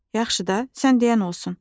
Yaxşı da, sən deyən olsun.